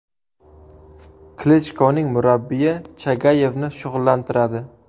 Klichkoning murabbiyi Chagayevni shug‘ullantiradi.